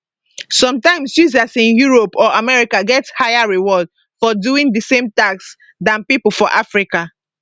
sometimes users in europe or america get higher rewards for doing di same tasks dan pipo for africa